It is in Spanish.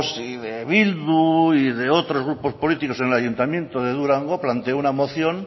y de bildu y de otros grupos políticos en el ayuntamiento de durango planteó una moción